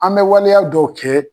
An bɛ waleya dɔw kɛ.